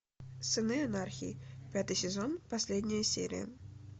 сыны анархии пятый сезон последняя серия